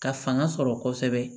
Ka fanga sɔrɔ kosɛbɛ